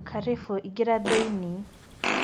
Karibũ, ĩngĩra thĩinĩ.